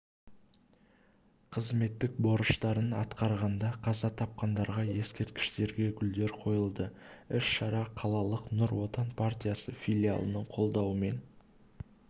қызметтік борыштарын атқарғанда қаза тапқандарға ескерткіштерге гүлдер қойылды іс-шара қалалық нұр отан партиясы филиалының қолдауымен